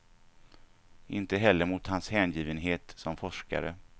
Inte heller mot hans hängivenhet som forskare.